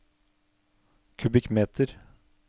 kubikkmeter